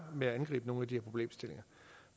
med at angribe nogle af de her problemstillinger